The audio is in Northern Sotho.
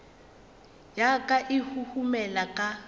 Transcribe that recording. ya ka e huhumela ka